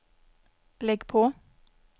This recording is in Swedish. lägg på